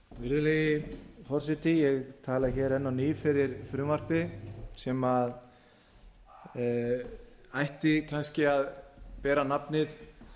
virðulegi forseti ég tala hér enn á ný fyrir frumvarpi sem ætti kannski að bera nafnið